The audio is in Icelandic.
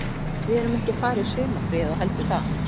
Við erum ekki að fara í sumarfrí ef þú heldur það.